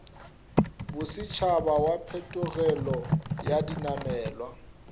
bosetšhaba wa phetogelo ya dinamelwa